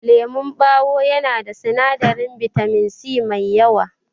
Lemon ɓawo yana da sinadarin bitamin C mai yawa.